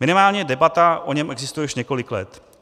Minimálně debata o něm existuje už několik let.